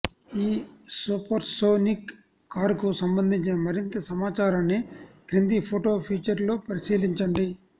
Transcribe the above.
ఈ సూపర్సోనిక్ కారుకు సంబంధించిన మరింత సమాచారాన్ని క్రింది ఫొటో ఫీచర్లో పరిశీలించండి